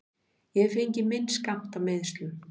Ég hef fengið minn skammt af meiðslum.